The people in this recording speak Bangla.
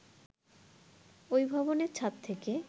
ওই ভবনের ছাদ থেকে